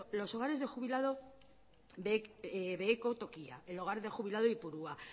los hogares de jubilados beheko tokia el hogar de jubilado de ipurua